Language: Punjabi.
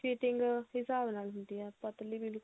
fitting ਹਿਸਾਬ ਨਾਲ ਹੁੰਦੀ ਏ ਪਤਲੀ ਬਿਲਕੁਲ